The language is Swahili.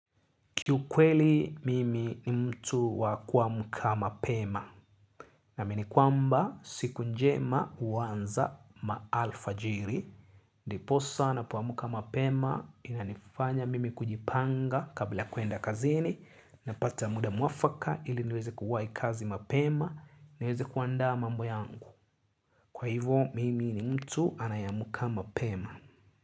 Kiukweli mimi ni mtu wa kuamka mapema naamini kwamba siku njema huanza maalfajiri. Ndiposa napoamka mapema inanifanya mimi kujipanga kabla ya kuenda kazini napata muda mwafaka ili niweze kuwai kazi mapema niweze kuandaa mambo yangu. Kwa hivo mimi ni mtu anayeamka mapema.